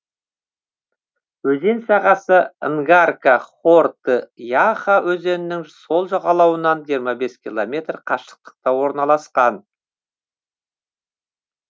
өзен сағасы нгарка хорты яха өзенінің сол жағалауынан жиырма бес километр қашықтықта орналасқан